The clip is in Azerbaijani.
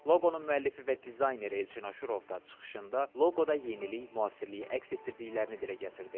Loqonun müəllifi və dizayner Elçin Aşurov da çıxışında loqoda yenilik, müasirliyi əks etdirdiklərini dilə gətirdi.